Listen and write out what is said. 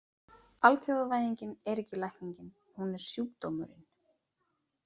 Alþjóðavæðingin er ekki lækningin, hún er sjúkdómurinn.